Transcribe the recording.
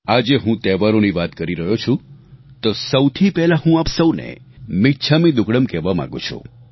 આજે હું તહેવારોની વાત કરી રહ્યો છું તો સૌથી પહેલા હું આપ સૌને મિચ્છામી દુક્કડમ કહેવા માંગુ છું